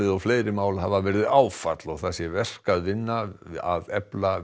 og fleiri mál hafa verið áfall og það sé verk að vinna að efla